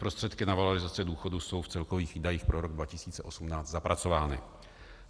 Prostředky na valorizaci důchodů jsou v celkových výdajích pro rok 2018 zapracovány.